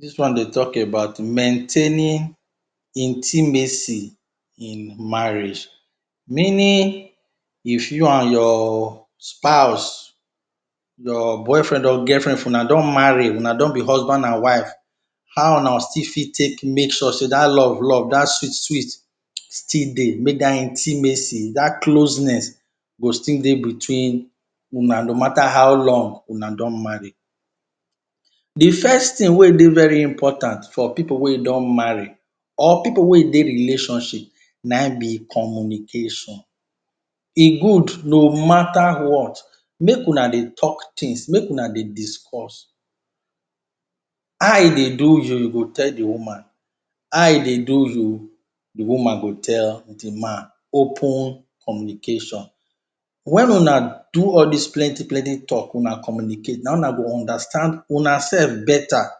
Dis one dey tok about maintaining intimacy in marriage. Meaning, if you and your spouse, your boyfren or girlfren if una don marry, una don be husband and wife, how una still fit take make sure sey dat love love, dat sweet sweet still dey. Make dat intimacy, dat closeness go still dey between una no matter how long una don marry. De first tin wey dey very important for pipu wey don marry, or pipu wey dey relationship, na im be communication. E good no matter what, make una dey tok tins, make una dey discuss. How e dey do you, you go tell de woman. How e dey do you, de woman go tell de man. Open communication. Wen una do all dis plenty plenty tok, una communicate, na im una go understand una sef beta.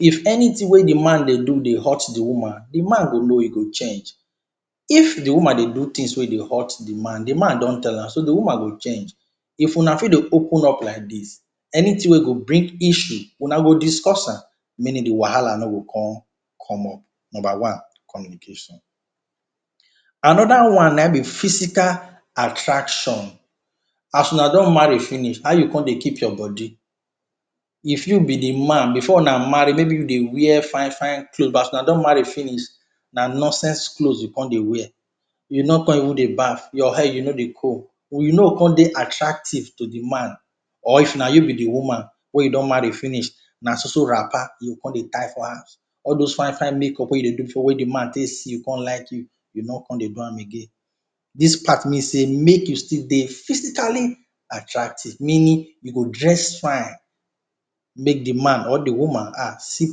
If anytin wey de man dey do dey hurt de woman, de man go know, e go change. If de woman dey do tins wey dey hurt de man, de man don tell am, so, de woman go change. If una fit dey open up like dis, anytin wey go bring issue, una go discuss am. Meaning, de wahala no go con come up. Number one, communication. Another one na im be physical attraction. As una don marry finish, how you con dey keep your body? If you be de man, maybe before una marry, you dey wear fine fine cloth, but as una don marry finish, na nonsense clothes you con dey wear. You no con even dey bath, your hair, you no dey comb. You no go con dey attractive to de man, or if na you be woman wey you don marry finish, na so so wrapper you go con dey tie for house. All those fine fine make up wey you dey do before wey de man take see you con like you, you no go con do am again. Dis part means sey make you still dey physically attractive. Meaning, you go dress fine, make de man or de woman um, see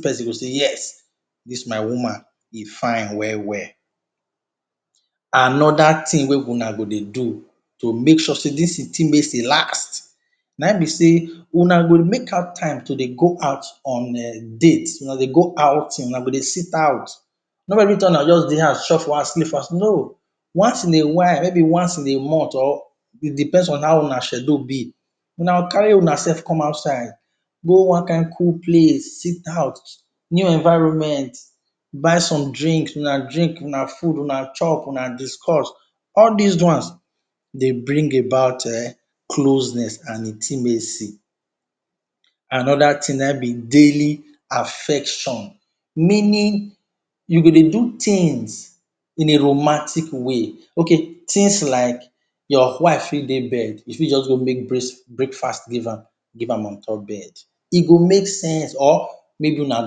pesin go say “Yes, dis my woman e fine well well.” Another tin wey una go dey do to make sure sey dis intimacy last, na im be sey una go make out time to dey go out on um dates. Una go dey go outing. Una go dey sit out. No be everytime una go just dey house chop for house, sleep for house. No! Once in a while, maybe once in a month, or e depends on how una schedule be, una go carry unasef come outside. Go one kain cool place, sit out, new environment, buy some drink, una drink, una food, una chop, una discuss. All dis ones dey bring about um closeness and intimacy. Another tin na im be daily affection. Meaning, you go dey do tins in a romantic way. Okay, tins like your wife fit dey bed, you fit just go make breakfast give am, give am on top bed. E go make sense. Or maybe una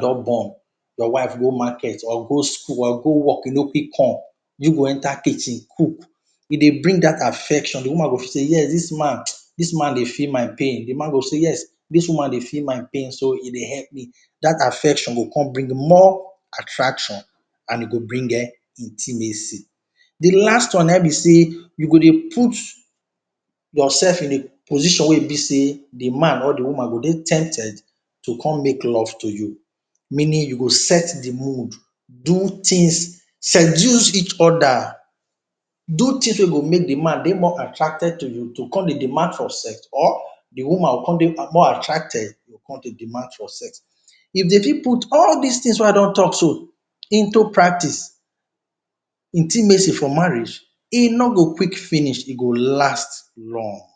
don born, your wife go market, or go school, or go work, e no quick come, you go enter kitchen, cook. E dey bring dat affection. De woman go feel sey “yes, dis man, dis man dey feel my pain.” De man go say “yes, dis woman dey feel my pain. So, e dey epp me.” Dat affection go come bring more attraction and e go bring um intimacy. De last one na im be sey, you go dey put yoursef in a position wey be sey de man or de woman go dey tempted to come make love to you. Meaning, you go set de mood, do tins, seduce each other. Do tins wey go make de man dey more attracted to you, to come dey demand for sex or de woman go con dey more attracted, con dey demand for sex. If dem fit put all dis tins wey I don tok so into practice, intimacy for marriage, e no go quick finish, e go last long.